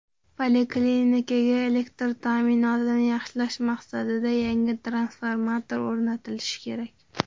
Poliklinikaga elektr ta’minotini yaxshilash maqsadida yangi transformator o‘rnatilishi kerak.